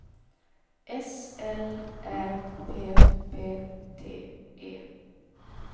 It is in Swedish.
S L Ä P P T E